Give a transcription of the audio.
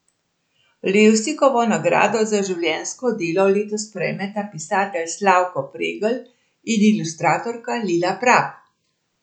Levstikovo nagrado za življenjsko delo letos prejmeta pisatelj Slavko Pregl in ilustratorka Lila Prap.